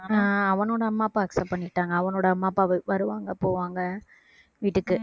ஆஹ் அவனோட அம்மா அப்பா accept பண்ணிக்கிட்டாங்க அவனோட அம்மா அப்பா வ~ வருவாங்க போவாங்க வீட்டுக்கு